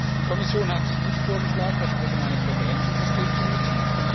Die Kommission hat nicht vorgeschlagen, das allgemeine Präferenzensystem zu nutzen.